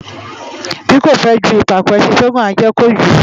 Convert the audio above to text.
Bí kò fę ju ìpàkó, ęşin tí ó ngùn á ję kojū